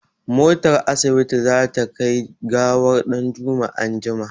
Motar asibiti za ta kai gawar ɗanjuma anjima.